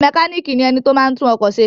Mékànìkì ni ẹni tí o máa ń tún ọkọ̀ se